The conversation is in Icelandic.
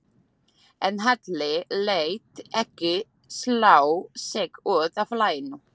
En Halli lét ekki slá sig út af laginu.